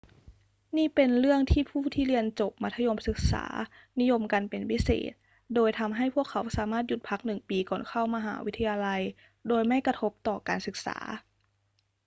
นี่เป็นเรื่องที่ผู้ที่เรียนจบมัธยมศึกษานิยมกันเป็นพิเศษ โดยทำให้พวกเขาสามารถหยุดพักหนึ่งปีก่อนเข้ามหาวิทยาลัยโดยไม่กระทบต่อการศึกษา